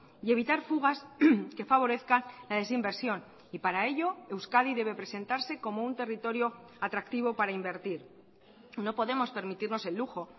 y evitar fugas que favorezca la desinversión y para ello euskadi debe presentarse como un territorio atractivo para invertir no podemos permitirnos el lujo